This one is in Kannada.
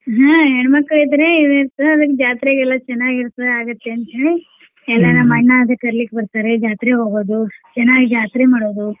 ಹಾ ಹೆಣ್ಮಕ್ಳ್ ಇದ್ರೆ ಜಾತ್ರೆಗ್ ಎಲ್ಲ ಚೆನ್ನಾಗ್ ಇರ್ತದ ಆಗುತ್ತೆ ಅಂತೇಳಿ ಎಲ್ಲಾ ನಮ್ಮ್ ಅಣ್ಣ ಅದು ಕರೀಲಿಕ್ಕ್ ಬರ್ತಾರೆ ಜಾತ್ರಿಗ್ ಹೋಗೋದು ಚೆನ್ನಾಗ್ ಜಾತ್ರಿ ಮಾಡೋದು.